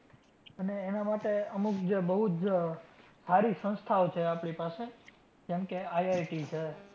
અને એના માટે અમુક જે બઉ જ સારી સંસ્થાઓ છે આપણી પાસે જેમકે, IIT છે